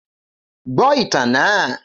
Gbọ itan naa!